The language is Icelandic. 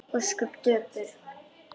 Ósköp daufur.